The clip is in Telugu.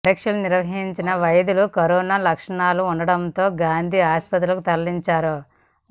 పరీక్షలు నిర్వహించిన వైద్యులు కరోనా లక్షణాలు ఉండటంతో గాంధీ ఆసుపత్రికి తరలించారు